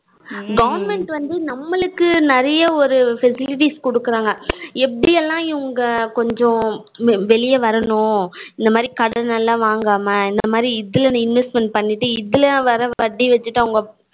government வந்து நமளுக்கு நெறையா ஒரு facilities கொடுக்குறாங்க எப்படி எல்லாம் இவங்க கொஞ்சம் வெளிய வரணும் இந்த மாதிரி கடன் எல்லாம் வாங்காம இந்த மாதிரி இதுல investment பண்ணிட்டு இதுல வர வட்டி வச்சிட்டு அவங்க